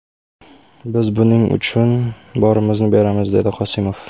Biz buning uchun borimizni beramiz”, − dedi Qosimov.